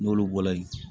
N'olu bɔla yen